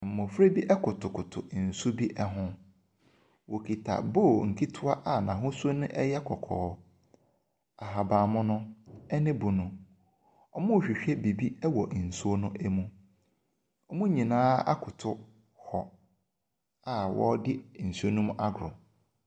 Mmofra bi kotokoto nsu bi ho. Wɔkita bowl nketewa a n'ahosuo no yɛ kɔkɔɔ. Ahabanmono, ne bunu. Wɔrehwehwɛ biribi wɔ nsuo no mu. Wɔn nyinaa akoto hɔ a wɔredi nsuo no mu agorɔ.